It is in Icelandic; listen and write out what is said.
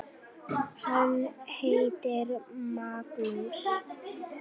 Hann heitir Magnús.